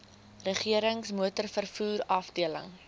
regerings motorvervoer afdeling